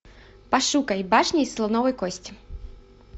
пошукай башня из слоновой кости